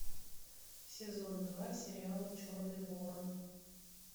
сезон два сериала черный ворон